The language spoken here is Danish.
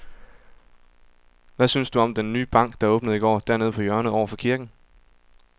Hvad synes du om den nye bank, der åbnede i går dernede på hjørnet over for kirken?